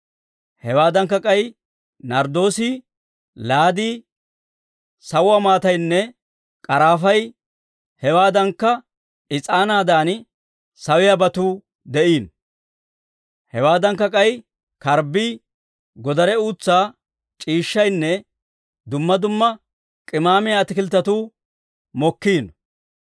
Hewaadankka k'ay narddoosii, laadii, sawuwaa maataynne k'arafay, hewaadankka is'aanaadan sawiyaabatuu de'iino; hewaadankka k'ay karbbii, godare uutsaa c'iishshaynne dumma dumma k'imaamiyaa ataakilttetuu mokkiino.